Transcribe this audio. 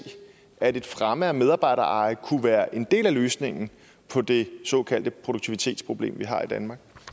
at en fremme af medarbejdereje kunne være en del af løsningen på det såkaldte produktivitetsproblem vi har i danmark